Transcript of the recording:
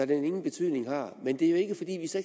den ingen betydning har men det er jo ikke fordi vi så